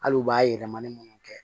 Hali u b'a yɛlɛmalen minnu kɛ